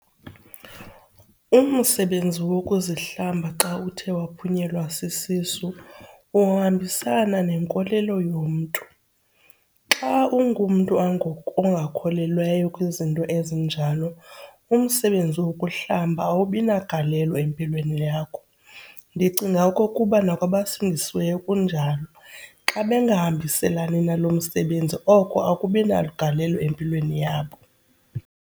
Umsebenzi wokuzihlamba xa uthe waphunyelwa sisisu uhambiselana nenkolelo yomntu. Xa ungumntu ongakholelwayo kwizinto ezinjalo umsebenzi wokuhlamba awubi nagalelo empilweni yakho. Ndicinga okokuba nakwabasindisiweyo kunjalo, xa bengahambiselani nalo msebenzi oko akubi nagalelo empilweni yabo.